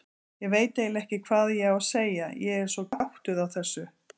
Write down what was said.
Ég veit eiginlega ekki hvað ég á að segja, ég er svo gáttuð á þessu.